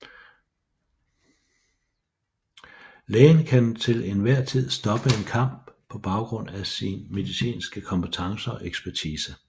Lægen kan til en hver tid stoppe en kamp på baggrund af sin medicinske kompetence og ekspertise